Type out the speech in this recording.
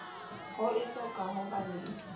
ho esoka ho ba le